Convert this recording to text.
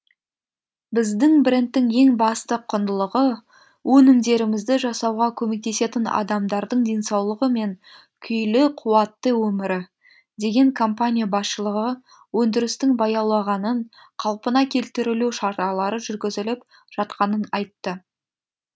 біздің брендтің ең басты құндылығы өнімдерімізді жасауға көмектесетін адамдардың денсаулығы мен күйлі қуатты өмірі деген компания басшылығы өндірістің баяулағанын қалпына келтірілу шаралары жүргізіліп жатқанын айтты